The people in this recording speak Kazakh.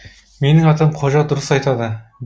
менің атым қожа дұрыс айтады